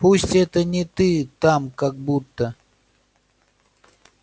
пусть это не ты там как будто